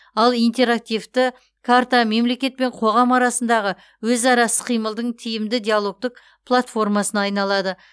ал интерактивті карта мемлекет пен қоғам арасындағы өзара іс қимылдың тиімді диалогтық платформасына айналады